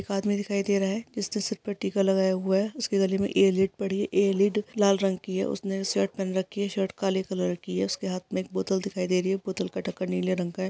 एक आदमी दिखाई दे रहा है जिसने सिरपर टीका लगाया हुआ है| उसके गले में इअर लीड पड़ी है| इअर लीड लाल रंग की है| उसने शर्ट पहन रखी है| शर्ट काले कलर की है| उसके हाथ में एक बोतल दिखाई दी रही है| बोतल का ढक्कन नीले रंग का है।